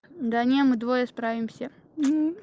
да не мы двое справимся